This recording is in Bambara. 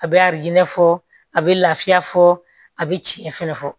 A bɛ fɔ a bɛ lafiya fɔ a bɛ tiɲɛ fɛnɛ fɔ